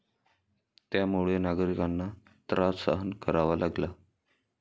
त्यामुळे नागरिकांना त्रास सहन करावा लागला.